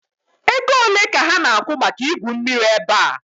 Ego ole ka ha na-akwụ maka igwu mmiri ebe a?